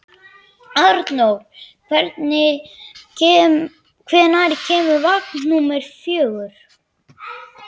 Arnór, hvenær kemur vagn númer fjögur?